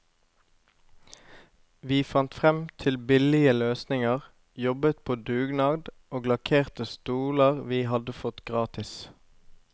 Vi fant frem til billige løsninger, jobbet på dugnad og lakkerte stoler vi hadde fått gratis.